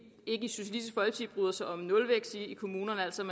bryder sig om nulvækst i kommunerne altså at